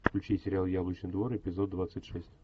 включи сериал яблочный двор эпизод двадцать шесть